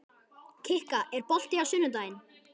Kikka, er bolti á sunnudaginn?